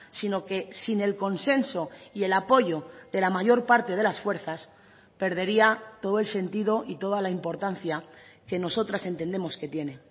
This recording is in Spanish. sino que sin el consenso y el apoyo de la mayor parte de las fuerzas perdería todo el sentido y toda la importancia que nosotras entendemos que tiene